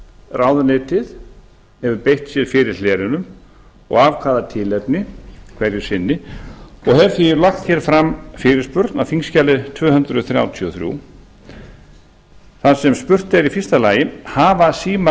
ráðuneytið hefur beitt sér fyrir hlerunum og af hvaða tilefni hverju sinni og hef því lagt fram fyrirspurn á þingskjali tvö hundruð þrjátíu og þrjú þar sem spurt er fyrsta hafa símar